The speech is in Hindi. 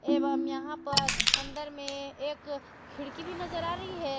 एवं यहां पर अंदर में एक खिड़की भी नजर आ रही है।